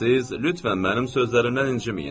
Siz lütfən mənim sözlərimdən inciməyin.